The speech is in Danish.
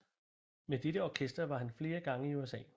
Med dette orkester var han flere gange i USA